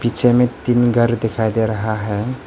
पीछे में तीन घर दिखाई दे रहा है।